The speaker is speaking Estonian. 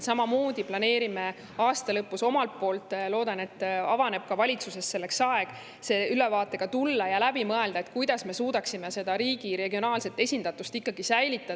Samamoodi planeerime aasta lõpus omalt poolt – loodan, et ka valitsuses avaneb selleks aeg – ülevaatega tulla ja läbi mõelda, kuidas me suudaksime riigi regionaalset esindatust ikkagi säilitada.